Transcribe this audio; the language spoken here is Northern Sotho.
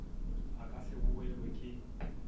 a ka se boelwe ke